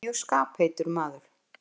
Hann var mjög skapheitur maður.